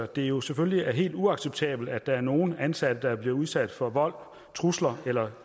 det jo selvfølgelig er helt uacceptabelt at der er nogle ansatte der er blevet udsat for vold trusler eller